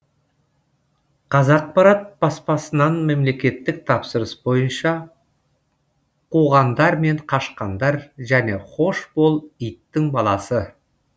қазақпарат баспасынан мемлекеттік тапсырыс бойынша қуғандар мен қашқандар және хош бол иттің баласы